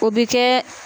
O bi kɛ